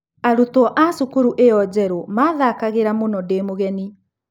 Arutwo a cukuru ĩyo njerũ mathakagĩra mũno ndĩ mũgeni.